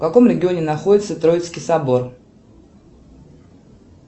в каком регионе находится троицкий собор